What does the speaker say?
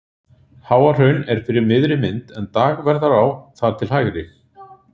Háahraun er fyrir miðri mynd en Dagverðará þar til hægri.